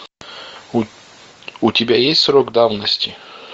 у тебя есть срок давности